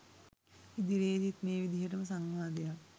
ඉදිරියේදීත් මේ විදියටම සංවාදයක්